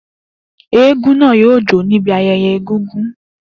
Eégún náà jó níbi ayẹyẹ Egungun.